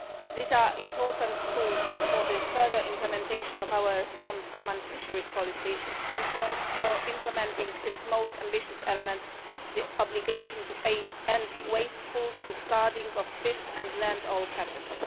These are important tools for the further implementation of our reformed common fisheries policy and for implementing its most ambitious element, the obligation to end wasteful discarding of fish and land all catches.